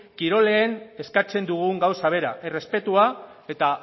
kirolean eskatzen dugun gauza bera errespetua eta